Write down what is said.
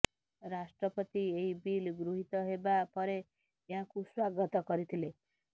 ରାଷ୍ଟ୍ରପତି ଏହି ବିଲ୍ ଗୃହୀତ ହେବା ପରେ ଏହାକୁ ସ୍ବାଗତ କରିଥିଲେ